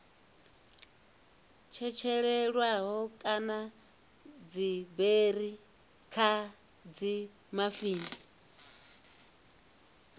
tshetshelelwaho kana dziberi kha dzimafini